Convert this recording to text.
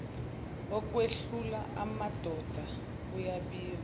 okwehlula amadoda kuyabikwa